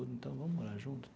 Então, vamos morar junto.